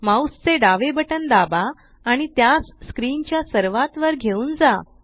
mouse चे डावे button दाबा आणि त्यास स्क्रीन च्या सर्वात वर घेऊन जा